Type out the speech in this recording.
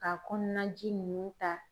K'a kɔnɔna ji ninnu ta